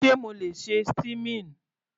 Sé mo le ṣe steaming?